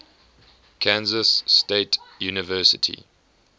kansas state university